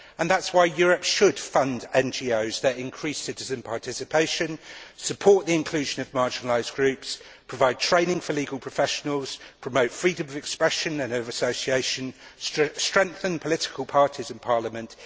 That is why Europe should fund NGOs that increase citizen participation, support the inclusion of marginalised groups, provide training for legal professionals, promote freedom of expression and of association, and strengthen political parties in parliament.